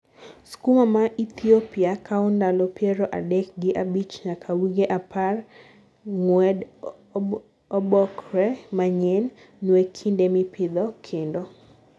skuma ma ithiopia kawo ndalo piero adek gi abich nyaka wige apar ng'ued obpke manyien . Nue kinde mipitho kendo